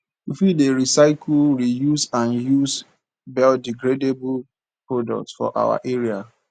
we fit dey recycle reuse and use biodegradable products for our area